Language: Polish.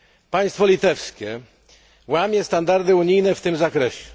Państwo litewskie łamie standardy unijne w tym zakresie.